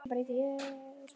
Hvar er Thomas Lang?